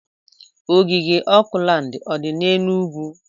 Ogige Oakland o dị n'Enugwu?